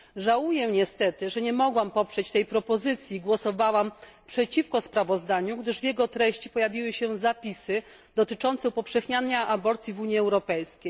Żałuję niestety, że nie mogłam poprzeć tej propozycji głosowałam przeciwko sprawozdaniu, gdyż w jego treści pojawiły się zapisy dotyczące upowszechniania aborcji w Unii Europejskiej.